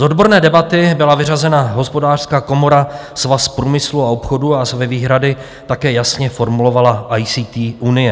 Z odborné debaty byla vyřazena Hospodářská komora, Svaz průmyslu a obchodu a své výhrady také jasně formulovala ICT unie.